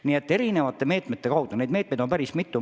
Nii et on erinevaid meetmeid, ja päris mitu.